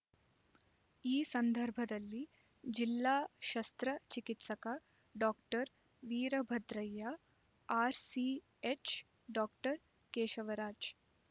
ಈ ಸಂದರ್ಭದಲ್ಲಿ ಜಿಲ್ಲಾ ಶಸ್ತ್ರ ಚಿಕಿತ್ಸಕ doctor Veerabhadraiah RCH doctor Keshavraj